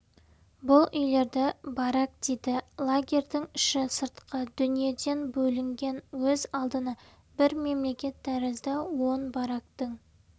бұл үйлерді барак дейді лагерьдің іші сыртқы дүниеден бөлінген өз алдына бір мемлекет тәрізді он барактың